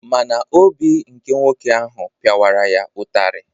Ma na obi nke nwoke ahụ piawara ya ụtarị.